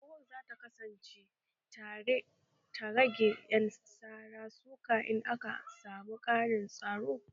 Unguwar za ta kasance ta rage ƴan sara suka in aka samu ƙarin tsaro